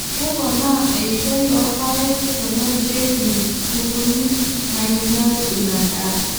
Kepona eishoi oorpaek tenerishieki nkukuni naainyial ina daa.